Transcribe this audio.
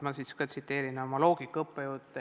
Ma siis tsiteerin vastuseks oma loogika õppejõudu.